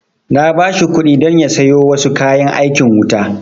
Na ba shi kuɗi don ya siyo wasu kayan aikin wuta